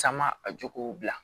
Caman a jokow bila